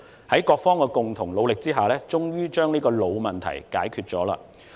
在各方的共同努力下，我們終於把這個老問題解決掉。